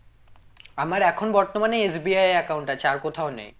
আমার এখন বর্তমানে SBI এ account আছে আর কোথাও নেই